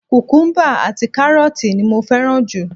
Kukumuba àti karooti ni mo fẹ́ràn jù.